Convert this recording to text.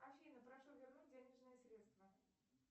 афина прошу вернуть денежные средства